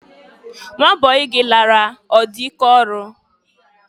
Nwa bọyị gị lara ọ dị ike ọrụ?